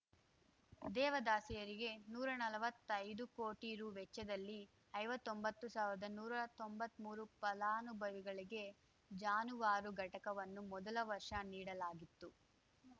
ದೇವದಾಸಿಯರಿಗೆ ನೂರಾ ನಲ್ವತ್ತೈದು ಕೋಟಿ ರು ವೆಚ್ಚದಲ್ಲಿ ಐವತ್ತೊಂಬತ್ತು ಸಾವ್ರ್ದಾನೂರಾ ತೊಂಬತ್ಮೂರು ಫಲಾನುಭವಿಗಳಿಗೆ ಜಾನುವಾರು ಘಟಕವನ್ನು ಮೊದಲ ವರ್ಷ ನೀಡಲಾಗಿತ್ತು